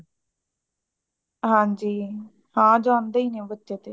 ਹਾਂਜੀ ਹਾਂ ਜਾਂਦੇ ਈ ਨੇ ਉਹ ਬੱਚੇ ਤੇ